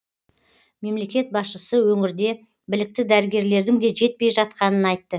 мемлекет басшысы өңірде білікті дәрігерлердің де жетпей жатқанын айтты